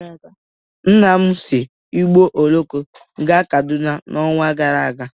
Nna m si ụgbọ oloko gaa Kaduna n'ọnwa gara aga.